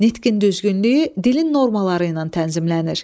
Nitqin düzgünlüyü dilin normaları ilə tənzimlənir.